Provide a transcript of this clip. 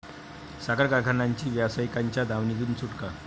साखर कारखानांची व्यावसायिकांच्या दावणीतून सुटका